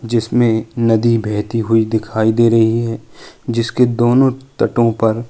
जिसमें नदी बहती हुई दिखाई दे रही है जिसके दोनों तटों पर --